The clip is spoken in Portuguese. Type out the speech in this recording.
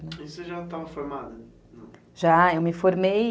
E você já estava formada? já, eu me formei...